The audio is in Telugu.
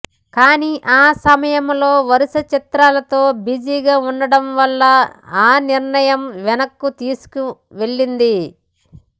కానీ ఆ సమయంలో వరుస చిత్రాలతో బిజీగా ఉండడం వలన ఆ నిర్ణయం వెనక్కు వెళ్ళింది